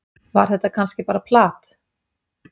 Var þetta kannski bara plat?